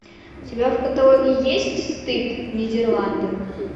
у тебя в каталоге есть стыд нидерланды